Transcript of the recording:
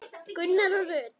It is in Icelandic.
Gunnar og Rut.